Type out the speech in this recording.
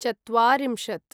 चत्वारिंशत्